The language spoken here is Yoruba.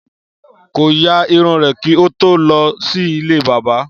Kò ya irun rè kí o tó lọ sí ilé bábà